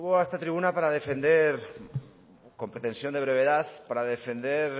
a esta tribuna para defender con pretensión de brevedad para defender